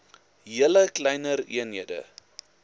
julle kleiner eenhede